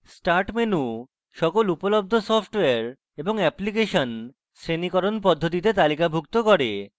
start menu সকল উপলব্ধ software এবং অ্যাপ্লিকেশন শ্রেণীকরণ পদ্ধতিতে তালিকাভুক্ত করে